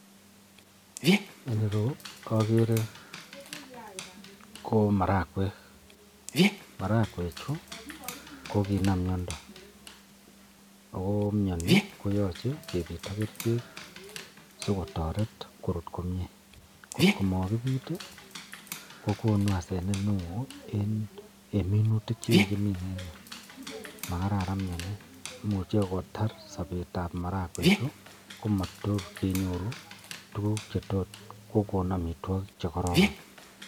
En ireyu koagere komarakwek marakwek Chu kokinam miando akomianin koyache kebit ak kerchek sikotaret korut komie kot komakibit kokonu asenet neon en minutik chekakimin en Yu akomakararan miani akomuche kotar Sabet ab marakwek Chu akoyot komakinyor kokon marakwek chekororon